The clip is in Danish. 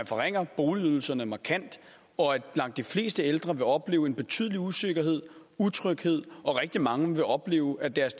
forringer boligydelserne markant og at langt de fleste ældre vil opleve en betydelig usikkerhed utryghed og rigtig mange vil opleve at deres